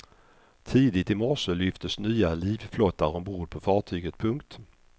Tidigt i morse lyftes nya livflottar ombord på fartyget. punkt